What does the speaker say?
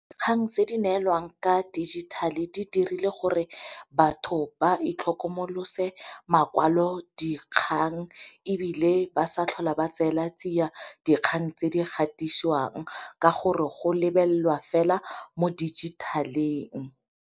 Kgang tse di neelwang ka dijithale di dirile gore batho ba itlhokomolosa makwalo dikgang ebile ba sa tlhola ba tsela tsia dikgang tse di gatisiwang ka gore go lebelelwa fela mo dijithaleng.